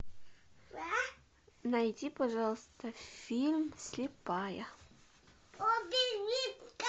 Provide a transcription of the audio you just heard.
найди пожалуйста фильм слепая